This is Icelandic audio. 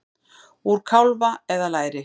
Úr kálfa eða læri!